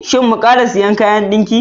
Shin mu ƙara sayin kayan dinki?